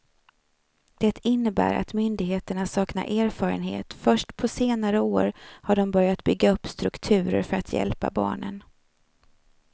Det innebär att myndigheterna saknar erfarenhet, först på senare år har de börjat bygga upp strukturer för att hjälpa barnen.